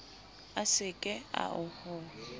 a se ke a ho